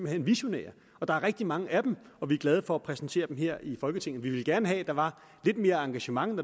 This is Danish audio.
er visionære og der er rigtig mange af dem og vi er glade for at præsentere dem her i folketinget vi ville gerne have at der var lidt mere engagement når